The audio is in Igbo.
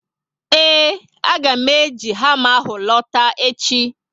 Eee, a ga mụ eji hama ahụ lota echi